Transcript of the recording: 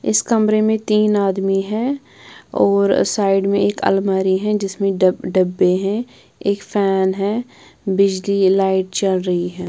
इस कमरे में तीन आदमी हैं और साइड में एक अलमारी है जिसमें ड डब्बे हैं एक फैन है बिजली लाइट चल रही है।